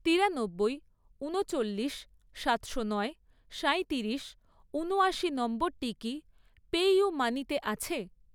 তিরানব্বই, ঊনচল্লিশ, সাতশো নয়, সাঁইতিরিশ, ঊনয়াশি নম্বরটি কি পেইউমানিতে আছে?